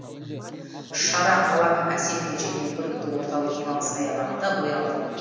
шара қаланың әсем де және көрікті орталық демалыс саябағында бой алды